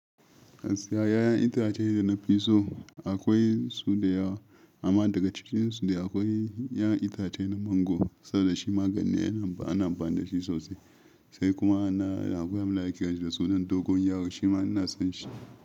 'Yayan itace da na fi so akwai su da yawa amma daga cikinsu dai akwai 'yan itace na mangoro saboda shi magani yana ba, ana ba da shi sosai. Sai kuma na, akwai wanda ake kira da suna dogon yaro shi ma ina son shi.